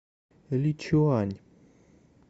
личуань